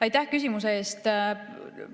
Aitäh küsimuse eest!